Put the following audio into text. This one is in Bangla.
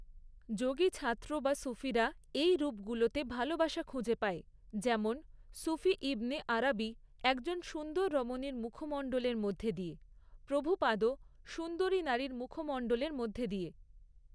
যোগী ছাত্র বা সুফিরা এই রূপগুলোতে ভালোবাসা খুঁজে পায়। যেমন সূফী ইবনে আরাবী একজন সুন্দরী রমণীর মুখমণ্ডলের মধ্য দিয়ে। প্রভুপাদঃ সুন্দরী নারীর মুখমণ্ডলের মধ্য দিয়ে।